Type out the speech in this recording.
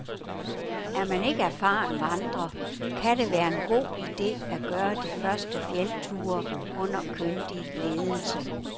Er man ikke erfaren vandrer, kan det være en god ide at gøre de første fjeldture under kyndig ledelse.